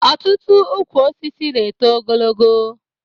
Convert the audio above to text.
Ọtụtụ ukwu osisi na-eto ogologo